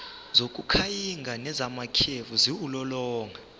zokukhanyisa nezamakhefu ziwulolonga